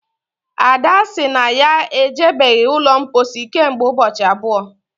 ada sị na ya ejibeghị ụlọ mposi kemgbe ụbọchị abụọ